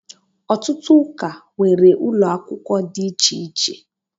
ọtụtụ ụka nwere ụlọ akwụkwọ dị iche iche